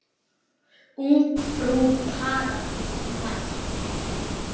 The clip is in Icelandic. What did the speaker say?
Ungfrú Paradís mætt!